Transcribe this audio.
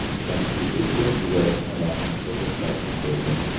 Konstitutsiya ijrosini vaqtincha to‘xtatib qo‘ydi.